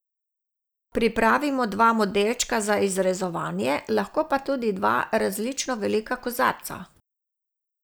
Pripravimo dva modelčka za izrezovanje, lahko tudi dva različno velika kozarca.